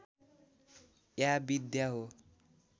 या विद्या हो